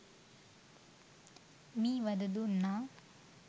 මී වද දුන්නා.